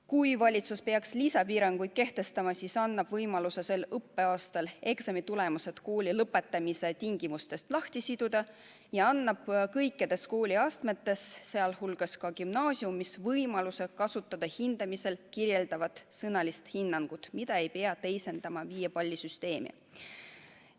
Kui valitsus peaks lisapiiranguid kehtestama, siis annab see võimaluse sel õppeaastal eksamitulemused kooli lõpetamise tingimustest lahti siduda ning kõikides kooliastmetes, sh ka gümnaasiumis võimaluse kasutada hindamisel kirjeldavat sõnalist hinnangut, mida ei pea teisendama viiepallisüsteemi.